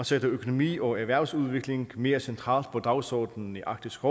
sætter økonomi og erhvervsudvikling mere centralt på dagsordenen i arktisk